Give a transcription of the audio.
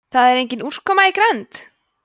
það er engin úrkoma í grennd